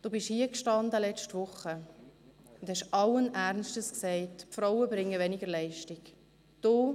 Sie sind letzte Woche hier gestanden und haben allen Ernstes gesagt, dass Frauen weniger Leistung bringen.